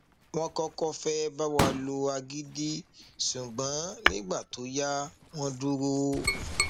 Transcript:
wọn kọkọ fẹẹ bá wa lo agídí ṣùgbọn nígbà tó yá wọn dúró